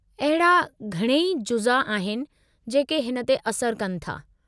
अहिड़ा घणई जुज़ा आहिनि जेके हिन ते असरु कनि था।